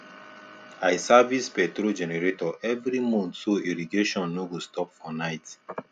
i service petrol generator every month so irrigation no go stop for night